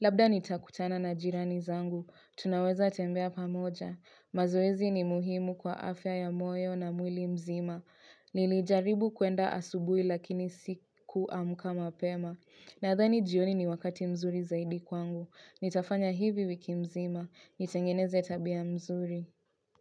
Labda nitakutana na jirani zangu, tunaweza tembea pamoja. Mazoezi ni muhimu kwa afya ya moyo na mwili mzima. Nilijaribu kuenda asubui lakini siku amuka mapema. Nadhani jioni ni wakati mzuri zaidi kwangu. Nitafanya hivi wiki mzima. Nitengeneze tabia mzuri.